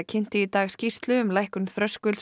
kynnti í dag skýrslu um lækkun